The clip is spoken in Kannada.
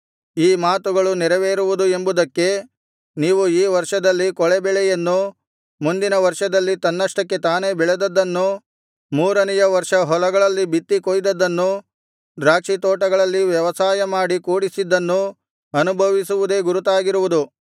ಈ ಮಾತುಗಳು ನೆರವೇರುವುದು ಎಂಬುದಕ್ಕೆ ನೀವು ಈ ವರ್ಷದಲ್ಲಿ ಕೂಳೆಬೆಳೆಯನ್ನೂ ಮುಂದಿನ ವರ್ಷದಲ್ಲಿ ತನ್ನಷ್ಟಕ್ಕೆ ತಾನೇ ಬೆಳೆದದ್ದನ್ನೂ ಮೂರನೆಯ ವರ್ಷ ಹೊಲಗಳಲ್ಲಿ ಬಿತ್ತಿ ಕೊಯ್ದದ್ದನ್ನೂ ದ್ರಾಕ್ಷಿತೋಟಗಳಲ್ಲಿ ವ್ಯವಸಾಯಮಾಡಿ ಕೂಡಿಸಿದ್ದನ್ನೂ ಅನುಭವಿಸುವುದೇ ಗುರುತಾಗಿರುವುದು